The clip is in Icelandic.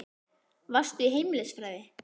Varstu í heimilisfræði?